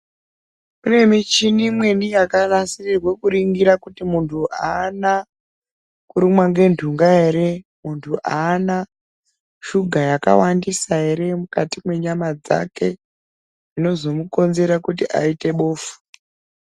Kune michini imweni yakanasirirwe kuringira kuti muntu aana kurumwa ngentunga ere muntu aana shuga yakawandisa ere mukati mwenyama dzake zvinozomukonzera kuti aite bofu.